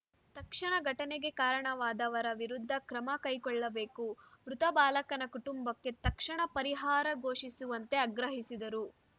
ತಕ್ಷಣ ಘಟನೆಗೆ ಕಾರಣವಾದವರ ವಿರುದ್ಧ ಕ್ರಮ ಕೈಗೊಳ್ಳಬೇಕು ಮೃತ ಬಾಲಕನ ಕುಟುಂಬಕ್ಕೆ ತಕ್ಷಣ ಪರಿಹಾರ ಘೋಷಿಸುವಂತೆ ಆಗ್ರಹಿಸಿದರು